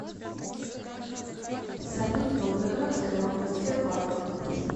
салют волгоградская область тербанк